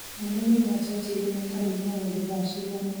monanio ma churchill me carnivore ũmũthi thaa cigana